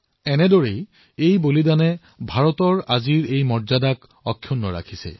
এনেকুৱা অনেক শ্বহীদে ভাৰতৰ আজিৰ স্বৰূপ ৰক্ষা কৰিছে বৰ্তাই ৰাখিছে